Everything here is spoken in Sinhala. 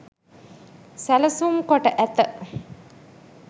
සැලසුම් කොට ඇත